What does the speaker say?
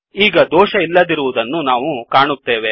ಈಗ ದೊಷ ಇಲ್ಲದಿರುವದನ್ನು ನಾವು ಕಾಣುತ್ತೇವೆ